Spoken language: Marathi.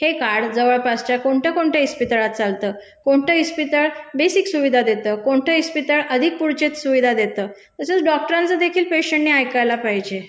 हे कार्ड जवळपासच्या कोणत्या, कोणत्या इस्पितळात चालतं? कोणतं इस्पितळ बेसिक सुविधा? कोणतं इस्पितळ अधिक पुढच्या सुविधा देतं? तसंच डॉक्टरांचंदेखील पेशेंटने ऐकायला पाहिजे.